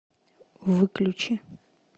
выключи